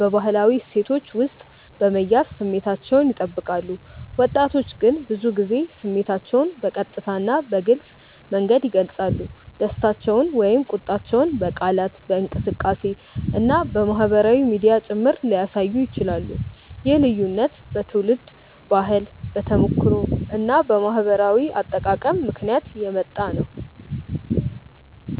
በባህላዊ እሴቶች ውስጥ በመያዝ ስሜታቸውን ይጠብቃሉ። ወጣቶች ግን ብዙ ጊዜ ስሜታቸውን በቀጥታ እና በግልጽ መንገድ ይገልጻሉ፤ ደስታቸውን ወይም ቁጣቸውን በቃላት፣ በእንቅስቃሴ እና በማህበራዊ ሚዲያ ጭምር ሊያሳዩ ይችላሉ። ይህ ልዩነት በትውልድ ባህል፣ በተሞክሮ እና በማህበራዊ አጠቃቀም ምክንያት የሚመጣ ነው።